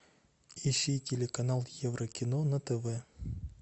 ищи телеканал еврокино на тв